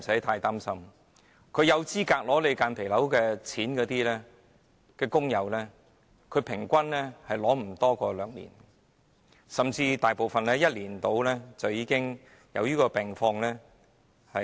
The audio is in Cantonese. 合資格申領補償的工友，平均無法領取補償超過兩年，甚至大部分在1年內，便會因病離世。